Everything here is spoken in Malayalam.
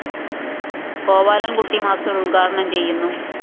ഗോപാലന്‍കുട്ടി മാസ്റ്റർ ഉദ്ഘാടനം ചെയ്യുന്നു